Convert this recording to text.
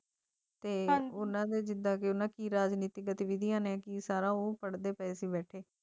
ਭਾਈ ਵੱਲੋਂ ਭਾਈ ਪਟੇਲ ਦੀ ਹੈ ਤੇ ਉਨ੍ਹਾਂ ਦੀ ਜ਼ਿੰਦਗੀ ਰਾਜਨੀਤੀ ਜਦ ਵਿਦਿਆ ਨੇ ਕੀਤੀ ਬੇਟੇ